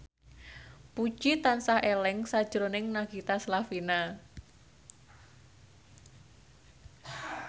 Puji tansah eling sakjroning Nagita Slavina